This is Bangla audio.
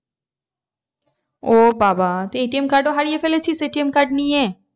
ও বাবা তুই ATM card ও হারিয়ে ফেলেছিস ATM card নিয়ে?